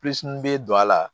bɛ don a la